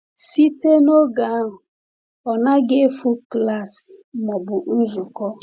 Site n’oge ahụ, ọ naghị efu klaasị ma ọ bụ nzukọ.